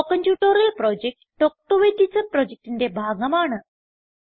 spoken tutorial project talk to a teacher പ്രൊജക്റ്റിന്റെ ഭാഗമാണ്